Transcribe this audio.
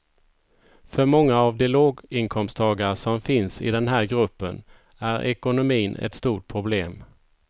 För många av de låginkomsttagare som finns i den här gruppen är ekonomin ett stort problem.